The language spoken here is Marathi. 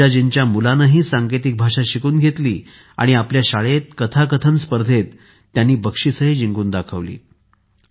पूजाजींच्या मुलानेही सांकेतिक भाषा शिकून घेतली आणि आपल्या शाळेत कथाकथन स्पर्धेत बक्षीसही जिंकून दाखवले